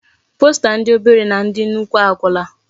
Posta ndi obere na ndi nnukwu agwula.